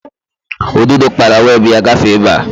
Ududo kpara weebụ ya gafee ebe a